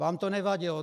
Vám to nevadilo.